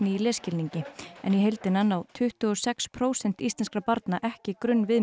í lesskilningi en í heildina ná tuttugu og sex prósent íslenskra barna ekki